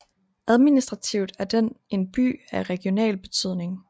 Administrativt er den en By af regional betydning